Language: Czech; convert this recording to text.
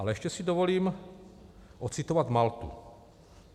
Ale ještě si dovolím odcitovat Maltu.